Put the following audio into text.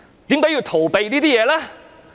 為何要逃避這些事呢？